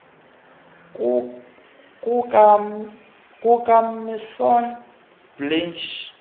kuka misson blanche